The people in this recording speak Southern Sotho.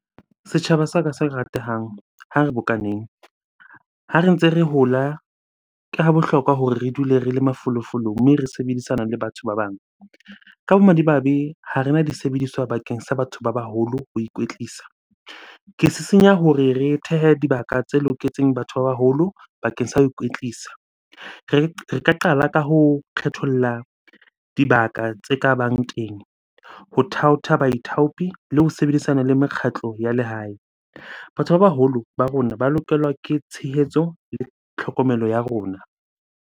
Setjhaba sa ka se ratehang, ha re bokaneng. Ha re ntse re hola, ke ha bohlokwa hore re dule re le mafolofolo mme re sebedisana le batho ba bang. Ka bomadimabe, ha rena di sebediswa bakeng sa batho ba baholo ho ikwetlisa. Ke sisinya hore re thehe dibaka tse loketseng batho ba baholo bakeng sa ho ikwetlisa. Re ka qala ka ho kgetholla dibaka tse kabang teng ho thaotha baithaopi le ho sebedisana le mekgatlo ya lehae. Batho ba baholo ba rona ba lokelwa ke tshehetso le tlhokomelo ya rona.